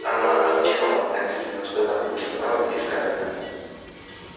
она окинула пронзительным взглядом лица мелани и скарлетт